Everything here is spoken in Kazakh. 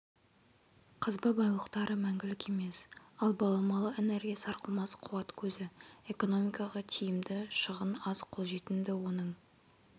қазба байлықтары мәңгілік емес ал баламалы энергия сарқылмас қуат көзі экономикаға тиімді шығын аз қолжетімді оның